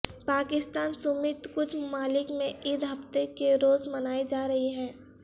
پاکستان سمیت کچھ ممالک میں عید ہفتے کے روز منائی جا رہی ہے